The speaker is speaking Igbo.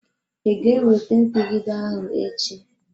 I ga ewete mpigide ahụ echi?